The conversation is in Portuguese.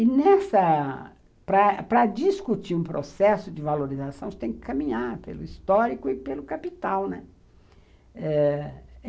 E nessa, para discutir um processo de valorização, você tem que caminhar pelo histórico e pelo capital, né, eh